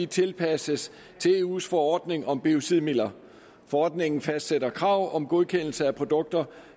tilpasses til eus forordning om biocidmidler forordningen fastsætter krav om godkendelse af produkter